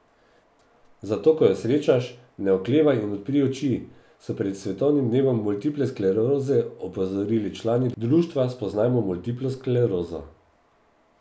Zato ko jo srečaš, ne oklevaj in odpri oči, so pred svetovnim dnevom multiple skleroze opozorili člani društva Spoznajmo multiplo sklerozo.